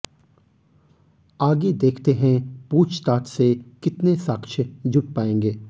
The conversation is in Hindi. आगे देखते हैं पूछ ताछ से कितने साक्ष्य जुट पायेंगे